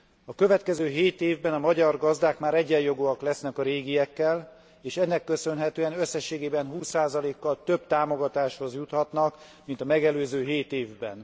A következő hét évben a magyar gazdák már egyenjogúak lesznek a régiekkel, és ennek köszönhetően összességében 20 kal több támogatáshoz juthatnak, mint a megelőző hét évben.